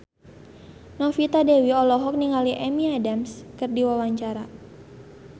Novita Dewi olohok ningali Amy Adams keur diwawancara